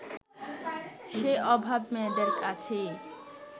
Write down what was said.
সেই অভাব মেয়েদের আছেই